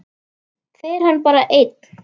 Fer hann bara einn?